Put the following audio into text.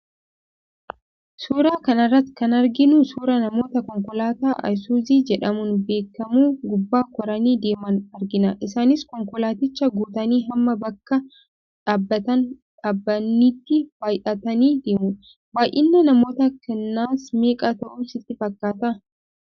Suuraa kana irratti kan arginu suuraa namoota konkolaataa 'Aysuuzii' jedhamuun beekamu gubbaa koranii deeman argina. Isaanis konkolaaticha guutanii hamma bakka dhaabatan dhabanitti baay'atanii deemu. Baay'inni namoota kanaas meeqa ta'u sitti fakkaata.